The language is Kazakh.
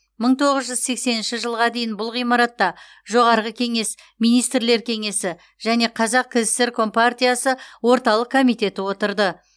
мың тоғыз жүз сексенінші жылға дейін бұл ғимаратта жоғарғы кеңес министрлер кеңесі және қазақ кср компартиясы орталық комитеті отырды